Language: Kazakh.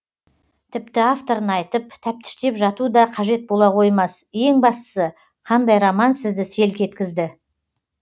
тіпті авторын айтып тәптіштеп жату да қажет бола қоймас ең бастысы қандай роман сізді селк еткізді